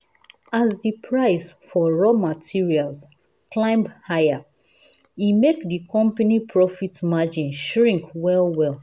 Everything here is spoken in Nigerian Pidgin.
as the price for raw materials climb higher e make the company profit margin shrink well well.